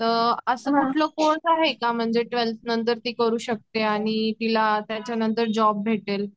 अस म्हटला कोर्स आहे का म्हणजे ट्वेल्थ नंतर ती करू शकते. आणि तिला त्याच्या नंतर जॉब भेटेल .